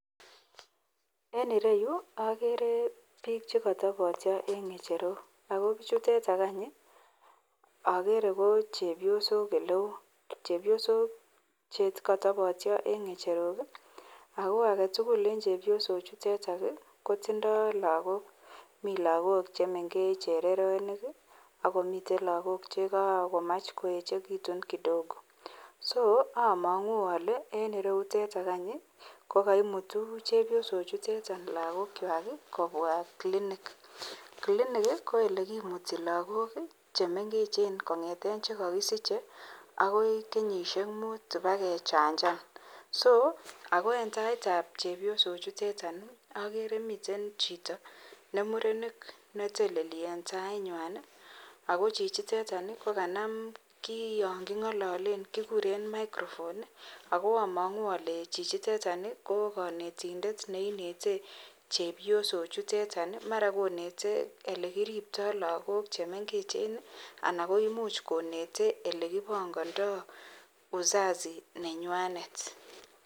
En ireyu akere biik chekotopot en ng'echerok ako bichutetok any ii akere ko chebiosok eleo chebiosok chekotopotio en ng'echerok ako aketugul en chebiosochutetok kotindoo lakok milakok chemengech chereronik akomii chelakok chekamach koechekitu kidogo so among'u alee en ireyutok any kokoimutu chebiosochutetok lakokwak kobwa clinic, clinic ko olekimuti lakok chemengechen kong'eten chekokisiche akoi kenyisiek mut ibakechanjan so ako en taitab chebiosochuteton ii akere miten chito nemurenik neteleli en tainywany ako chichiteton kanam kion king'ololen kikuren microphone ako among'u ale chichitetok konetindet neinete chebiosochutetok mara konete elekiripto lakok chemengechen ana koimuch konete elekipongondoo uzazi nenywanet.